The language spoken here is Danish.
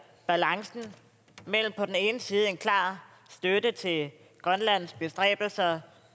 balancen mellem på den ene side en klar støtte til grønlands bestræbelser